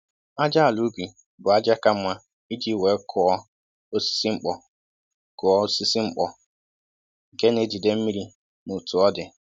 Ájá àlà ubi bụ ájá ka mma iji wéé kụọ osisi mkpọ, kụọ osisi mkpọ, nke na-ejide mmiri na otú ọ dị